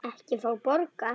Ekki fá borga.